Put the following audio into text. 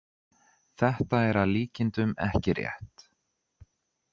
Þetta er að líkindum ekki rétt.